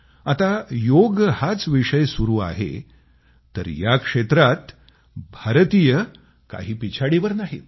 आता योग हाच विषय सुरू आहे तर या या क्षेत्रात भारतीय काही पिछाडीवर नाहीत